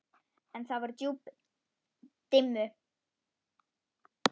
En það voru djúpin dimmu.